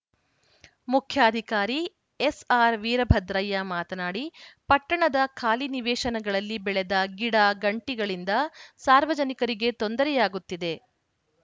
ಮುಖ್ಯಾಧಿಕಾರಿ ಎಸ್‌ಆರ್‌ ವೀರಭದ್ರಯ್ಯ ಮಾತನಾಡಿ ಪಟ್ಟಣದ ಖಾಲಿ ನಿವೇಶನಗಳಲ್ಲಿ ಬೆಳೆದ ಗಿಡಗಂಟಿಗಳಿಂದ ಸಾರ್ವಜನಿಕರಿಗೆ ತೊಂದರೆಯಾಗುತ್ತಿದೆ